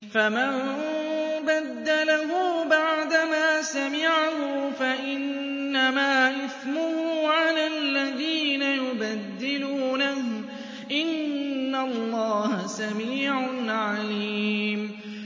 فَمَن بَدَّلَهُ بَعْدَمَا سَمِعَهُ فَإِنَّمَا إِثْمُهُ عَلَى الَّذِينَ يُبَدِّلُونَهُ ۚ إِنَّ اللَّهَ سَمِيعٌ عَلِيمٌ